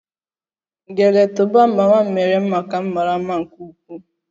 Gele toban mama m mere maka m mara mma nke ukwuu